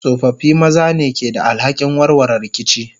tsofaffi maza ne ke da alhakin warware rikici.